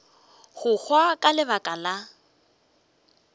go hwa ka lebaka la